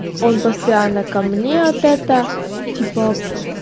он постоянно ко мне от это типа